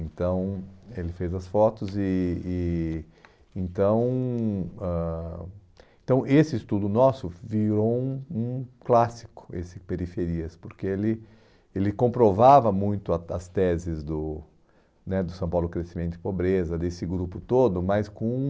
Então, ele fez as fotos e e então ãh então esse estudo nosso virou um um clássico, esse Periferias, porque ele ele comprovava muito a as teses do né do São Paulo Crescimento e Pobreza, desse grupo todo, mas com...